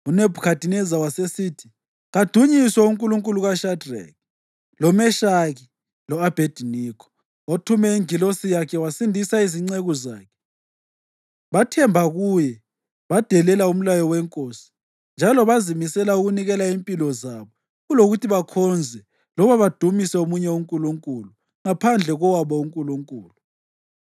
UNebhukhadineza wasesithi, “Kadunyiswe uNkulunkulu kaShadreki, loMeshaki lo-Abhediniko, othume ingilosi yakhe wasindisa izinceku zakhe! Bathemba kuye badelela umlayo wenkosi njalo bazimisela ukunikela impilo zabo kulokuthi bakhonze loba badumise omunye uNkulunkulu ngaphandle kowabo uNkulunkulu.